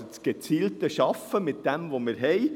Es ist das gezielte Arbeiten mit dem, was wir haben.